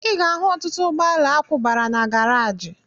Ị ga-ahụ ọtụtụ ụgbọala akwụbara na garaji